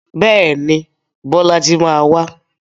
Bẹ́ẹ̀ni, Bọ́lájí máa wá.